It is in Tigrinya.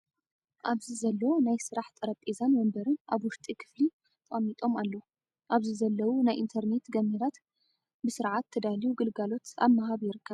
ኣብዚ ዘሎ ናይ ስራሕ ጠሬጰዛን ወንበርን ኣብ ውሽጢ ክፍሊ ተቀሚምኣለው። ኣብዚ ዘለው ናይ ኢንተርነት ገመዳት ብድርዓት ተዳልዩ ግለልጋሎ ኣብ ምሃብ ይርከብ።